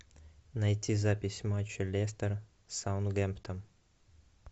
найти запись матча лестер саутгемптон